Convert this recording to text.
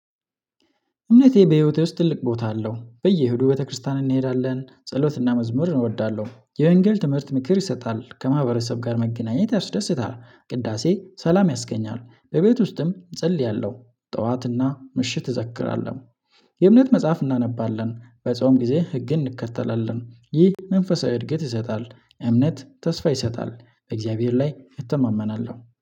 እምነቴ በህይወቴ ውስጥ ትልቅ ቦታ አለው። በየእሁዱ ቤተክርስቲያን እንሄዳለን ጸሎትና መዝሙር እወዳለሁ። የወንጌል ትምህርት ምክር ይሰጣል። ከማህበረሰብ ጋር መገናኘት ያስደስታል። ቅዳሴ ሰላም ያስገኛል። በቤት ውስጥም እጸልያለሁ። ጠዋትና ምሽት እዘክራለሁ። የእምነት መጽሐፍ እናነባለን። በጾም ጊዜ ህግን እንከተላለን። ይህ መንፈሳዊ እድገት ይሰጣል። እምነት ተስፋ ይሰጣል። በእግዚአብሔር ላይ እተማመናለሁ